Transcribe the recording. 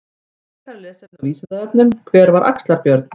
Frekara lesefni á Vísindavefnum: Hver var Axlar-Björn?